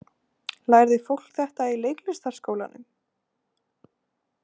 Lærði fólk þetta í leiklistarskólanum?